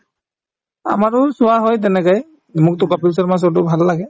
আমাৰো চোৱা হয় তেনেকে মোকতো কপিল শৰ্মা show তো ভাল লাগে